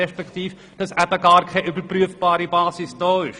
Offenbar ist ja auch keine überprüfbare Basis vorhanden.